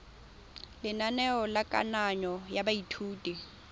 lenaneo la kananyo ya baithuti